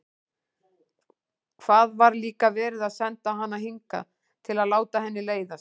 Hvað var líka verið að senda hana hingað til að láta henni leiðast?